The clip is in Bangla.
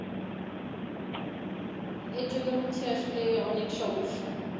এর জন্য হচ্ছে আসলে অনেক সমস্যা।